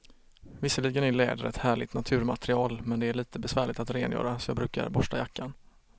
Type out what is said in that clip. Visserligen är läder ett härligt naturmaterial, men det är lite besvärligt att rengöra, så jag brukar borsta jackan.